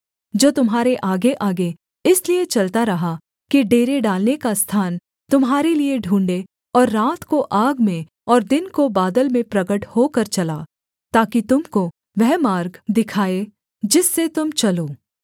जो तुम्हारे आगेआगे इसलिए चलता रहा कि डेरे डालने का स्थान तुम्हारे लिये ढूँढ़े और रात को आग में और दिन को बादल में प्रगट होकर चला ताकि तुम को वह मार्ग दिखाए जिससे तुम चलो